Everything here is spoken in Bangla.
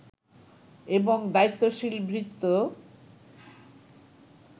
এবং দায়িত্বশীল ভৃত্য